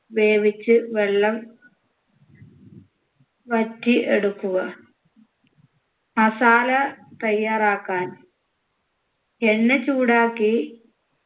വേവിച്ച് വെള്ളം വറ്റി എടുക്കുക masala തയ്യാറാക്കാൻ എണ്ണ ചൂടാക്കി